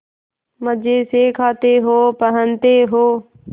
मजे से खाते हो पहनते हो